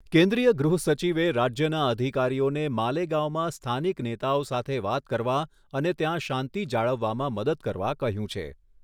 કેન્દ્રીય ગૃહ સચિવે રાજ્યના અધિકારીઓને માલેગાંવમાં સ્થાનિક નેતાઓ સાથે વાત કરવા અને ત્યાં શાંતિ જાળવવામાં મદદ કરવા કહ્યું છે.